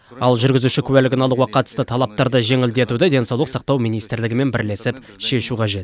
ал жүргізуші куәлігін алуға қатысты талаптарды жеңілдетуді денсаулық сақтау министрлігімен бірлесіп шешу қажет